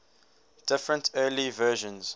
different early versions